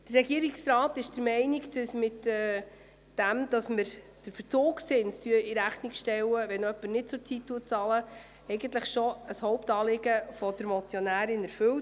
Der Regierungsrat ist der Auffassung, dass bereits ein Hauptanliegen der Motionärin erfüllt wird, weil der Verzugszins in Rechnung gestellt wird, wenn jemand nicht bezahlt.